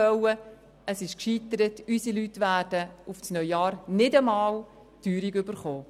Die Verhandlungen sind gescheitert, und unsere Leute werden im neuen Jahr nicht einmal die Teuerung erhalten.